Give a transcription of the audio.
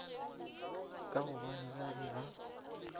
ka gobane ba be ba